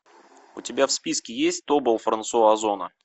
у тебя в списке есть тобол франсуа озона